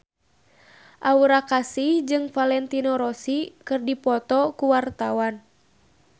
Aura Kasih jeung Valentino Rossi keur dipoto ku wartawan